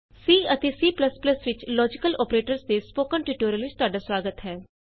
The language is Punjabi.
C ਅਤੇ C ਵਿਚ ਲੋਜੀਕਲ ਅੋਪਰੇਟਰਸ ਦੇ ਸਪੋਕਨ ਟਯੂਟੋਰਿਅਲ ਵਿਚ ਤੁਹਾਡਾ ਸੁਆਗਤ ਹੈ